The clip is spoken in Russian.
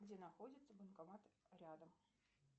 где находится банкомат рядом